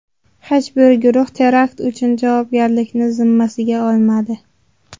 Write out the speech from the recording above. Hech bir guruh terakt uchun javobgarlikni zimmasiga olmadi.